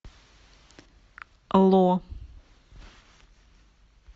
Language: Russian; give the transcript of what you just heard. ло